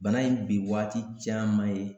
Bana in bi waati caman ye